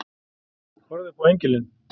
Horfði upp á engilinn.